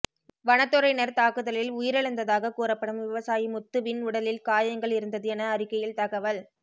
வனத்துறையினர் தாக்குதலில் உயிரிழந்ததாக கூறப்படும் விவசாயி முத்துவின் உடலில் காயங்கள் இருந்தது என அறிக்கையில் தகவல்